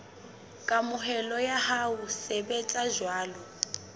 kamohelo ya ho sebetsa jwalo